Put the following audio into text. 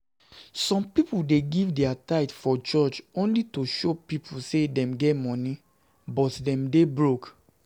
Some people dey give dia tithe for church only to show people say dem get money, but dem dey broke